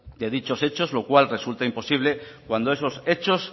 de dichos hechos lo cual resulta imposible cuando esos hechos